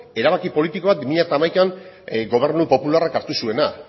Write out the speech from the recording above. erabaki politiko bat bi mila hamaikan gobernu popularrak hartu zuena